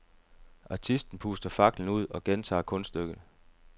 Artisten puster faklen ud og gentager kunststykket.